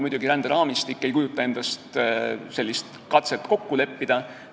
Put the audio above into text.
Ränderaamistik ei kujuta endast muidugi sellist katset kokku leppida.